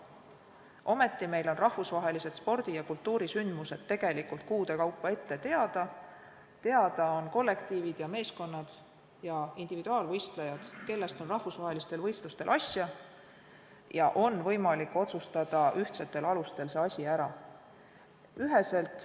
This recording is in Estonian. Ometi on meil rahvusvahelised spordi- ja kultuurisündmused tegelikult kuude kaupa ette teada, on teada kollektiivid ja meeskonnad ja individuaalvõistlejad, kellest on rahvusvahelistel võistlustel asja, ja on võimalik otsustada ühtsetel alustel see asi ära.